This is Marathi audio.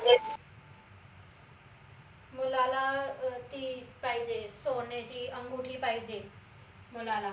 मुलाला अं ती पाहिजे सोन्याची अंगुठी पाहिजे मुलाला